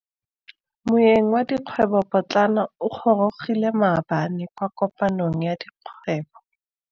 Moêng wa dikgwêbô pôtlana o gorogile maabane kwa kopanong ya dikgwêbô.